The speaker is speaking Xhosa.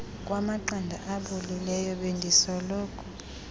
kwamaqanda abolileyo bendisoloko